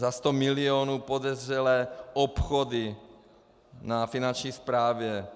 Za 100 mil. podezřelé obchody na Finanční správě.